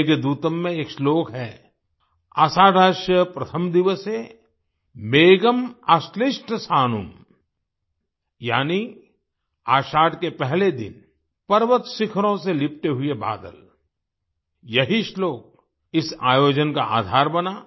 मेघदूतम् में एक श्लोक है आषाढस्य प्रथम दिवसे मेघम् आश्लिष्ट सानुम् यानि आषाढ़ के पहले दिन पर्वत शिखरों से लिपटे हुए बादल यही श्लोक इस आयोजन का आधार बना